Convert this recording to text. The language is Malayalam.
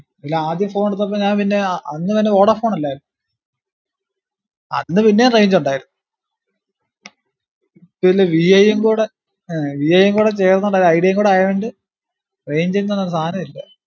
ഇല്ല ആദ്യം phone എടുത്തപ്പോ ഞാൻ പിന്ന ഏർ അന്ന് പിന്നെ വോഡാഫോൺ അല്ലെ. അന്ന് പിന്നേം range ഉണ്ടാർന്നു പിന്നെ വി ഐ കൂടെ ആഹ് വി ഐ കൂടെ ചേർന്ന് ഉണ്ട ഐഡിയ കൂടെ ആയോണ്ട് range ന്ന് പറഞ്ഞ സാനുല്ല